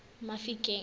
mafikeng